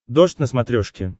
дождь на смотрешке